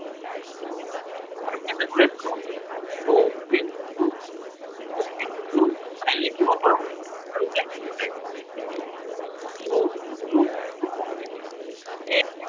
আৰু কেনেদৰে যাব, two into, two into nine লিখিব পাৰো, পাৰোনে? two into two into এৰ